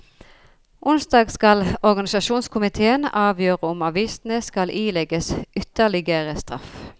Onsdag skal organisasjonskomitéen avgjøre om avisene skal ilegges ytterligere straff.